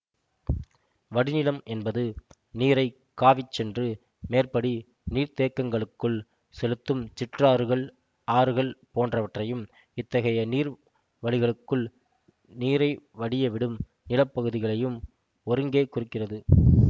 வடிநிலம் என்பது நீரைக் காவிச்சென்று மேற்படி நீர்த்தேக்கங்களுக்குள் செலுத்தும் சிற்றாறுகள் ஆறுகள் போன்றவற்றையும் இத்தகைய நீர் வழிகளுக்குள் நீரை வடியவிடும் நில பகுதிகளையும் ஒருங்கே குறிக்கிறது